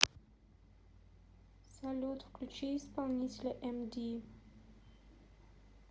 салют включи исполнителя эмди